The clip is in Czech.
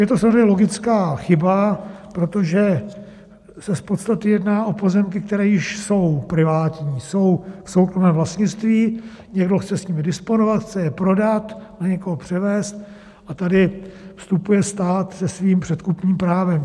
Je to samozřejmě logická chyba, protože se z podstaty jedná o pozemky, které již jsou privátní, jsou v soukromém vlastnictví, někdo chce s nimi disponovat, chce je prodat, na někoho převést, a tady vstupuje stát se svým předkupním právem.